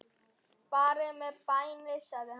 Farið með bænir sagði hann.